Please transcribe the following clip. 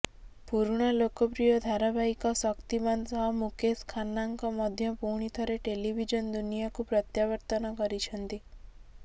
ପୁରୁଣା ଲୋକପ୍ରିୟ ଧାରାବାହିକ ଶକ୍ତିମାନ୍ ସହ ମୁକେଶ ଖାନ୍ନାଙ୍କ ମଧ୍ୟ ପୁଣି ଥରେ ଟେଲିଭିଜନ ଦୁନିଆକୁ ପ୍ରତ୍ୟାବର୍ତ୍ତନ କରିଛନ୍ତି